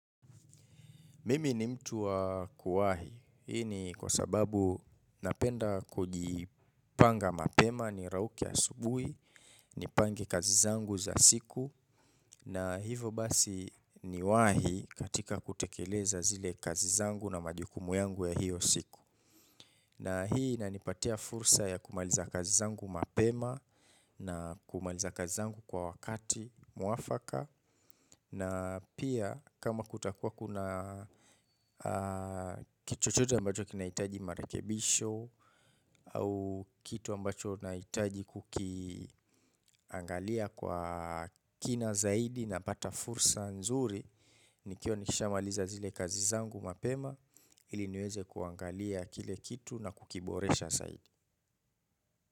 Mimi ni mtu wa kuwahi, hii ni kwa sababu napenda kujipanga mapema ni rauke asubuhi, nipange kazi zangu za siku na hivo basi niwahi katika kutekeleza zile kazi zangu na majukumu yangu ya hiyo siku. Na hii ina nipatia fursa ya kumaliza kazi zangu mapema na kumaliza kazi zangu kwa wakati mwafaka na pia kama kutakuwa kuna kitu chochote ambacho kinahitaji marekebisho kitu ambacho nahitaji kukiangalia kwa kina zaidi napata fursa nzuri nikiwa nisha maliza zile kazi zangu mapema ili niweze kuangalia kile kitu na kukiboresha zaidi.